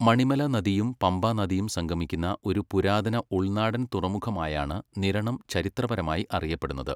മണിമല നദിയും പമ്പ നദിയും സംഗമിക്കുന്ന ഒരു പുരാതന ഉൾനാടൻ തുറമുഖമായാണ് നിരണം ചരിത്രപരമായി അറിയപ്പെടുന്നത്.